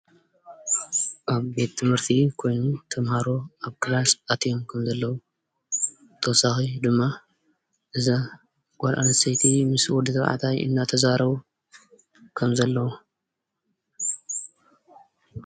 ኣብ ቤት ት/ቲ ኮይኑ ተምሃሮ ኣብ ክላስ ኣትዮም ከምዘለው ብተወሳኺ ድማ እዛ ጓል ኣነስተይቲ ምስ ተባዕታይ አናተዛረቡ ከምዘለው፣